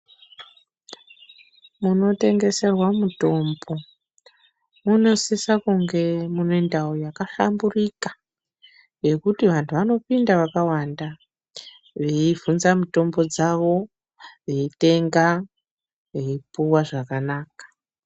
Munotengeserwa mutombo munosisa kunge mune ndau yakahlamburika yekuti vantu vanopinda vakawanda veibvunza mitombo dzawo veitenga veipuwa zvakanaka .